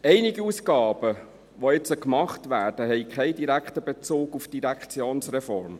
Einige Ausgaben, die jetzt gemacht werden, haben keinen direkten Bezug zur Direktionsreform.